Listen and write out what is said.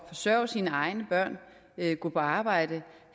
at forsørge sine egne børn gå på arbejde og